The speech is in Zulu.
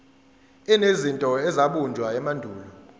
enezinto ezabunjwa emandulo